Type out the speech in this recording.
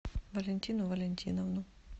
валентину валентиновну